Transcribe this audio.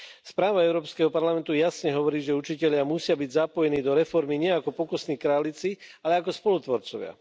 Správa Európskeho parlamentu jasne hovorí, že učitelia musia byť zapojení do reformy nie ako pokusné králiky, ale ako spolutvorcovia.